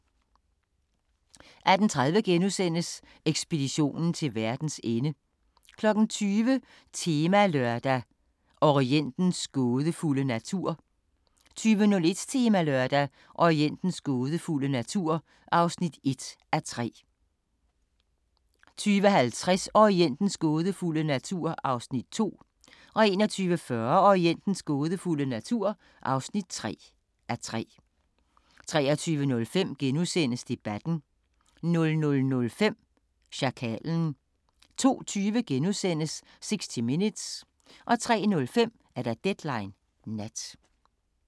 18:30: Ekspeditionen til verdens ende * 20:00: Temalørdag: Orientens gådefulde natur 20:01: Temalørdag: Orientens gådefulde natur (1:3) 20:50: Orientens gådefulde natur (2:3) 21:40: Orientens gådefulde natur (3:3) 23:05: Debatten * 00:05: Sjakalen 02:20: 60 Minutes * 03:05: Deadline Nat